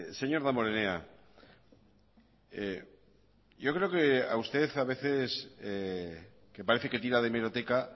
señor damborenea yo creo que a usted a veces que parece que tira de hemeroteca